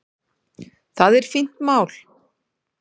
Það er fínt mál.